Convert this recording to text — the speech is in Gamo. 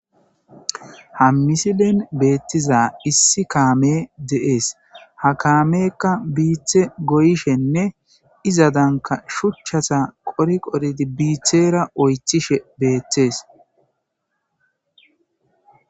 Ha misilen beettiza issi kaame de'ees ha kaamekka biithe goyishenne izadanka shuchchasa qori qoridi biithera oythishe beettees.